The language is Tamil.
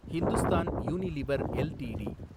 Hindustan Unilever LTD